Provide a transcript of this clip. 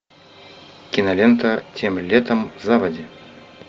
кинолента тем летом заводи